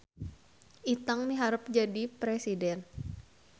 Itang miharep jadi presiden